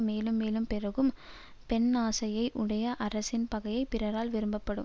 மேலும் மேலும் பெருகும் பெண்ணாசையை உடைய அரசின் பகையை பிறரால் விரும்ப்படும்